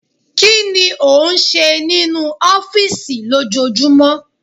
Kí ni ó ń ṣe nínú ọ́fìsì lójoojúmọ́?